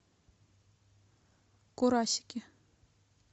курасики